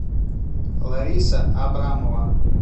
лариса абрамова